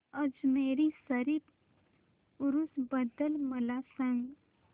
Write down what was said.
अजमेर शरीफ उरूस बद्दल मला सांग